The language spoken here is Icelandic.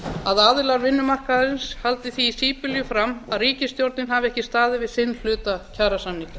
að aðilar vinnumarkaðarins haldi því í síbylju fram að ríkisstjórnin hafi ekki staðið við sinn hluta kjarasamninga